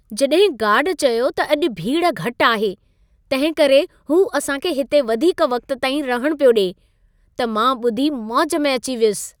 जॾहिं गार्ड चयो त अॼु भीड़ घटि आहे, तंहिंकरे हू असां खे हिते वधीक वक़्त ताईं रहण पियो ॾिए, त मां ॿुधी मौज में अची वियुसि।